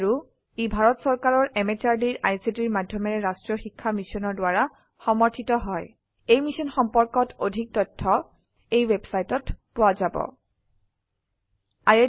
আৰু ই ভাৰত চৰকাৰৰ MHRDৰ ICTৰ মাধয়মেৰে ৰাস্ত্ৰীয় শিক্ষা মিছনৰ দ্ৱাৰা সমৰ্থিত হয় ই মিশ্যন সম্পৰ্কত অধিক তথ্য spoken hyphen tutorial dot org slash এনএমইআইচিত হাইফেন ইন্ট্ৰ ৱেবচাইটত পোৱা যাব